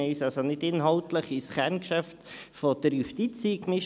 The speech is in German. Wir mischten uns also nicht inhaltlich in das Kerngeschäft der Justiz ein.